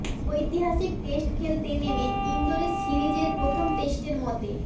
ঐতিহাসিক টেস্ট খেলতে নেমে ইন্দোরে সিরিজের প্রথম টেস্টের মতে